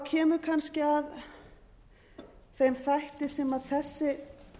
kemur kannski að þeim þætti sem þessi